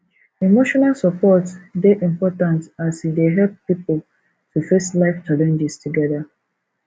emotional support dey important as e dey help pipo to face life challenges together